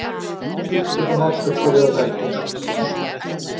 Úrslit og markaskorarar dagsins.